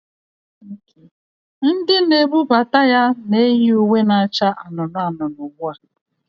Ndị na-ebubata ya na-eyi uwe na-acha anụnụ anụnụ ugbu a